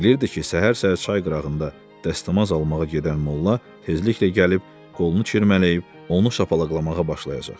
Bilirdi ki, səhər-səhər çay qırağında dəstəmaz almağa gedən molla tezliklə gəlib qolunu çırmalayıb onu şapalaqlamağa başlayacaq.